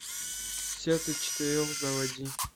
сердца четырех заводи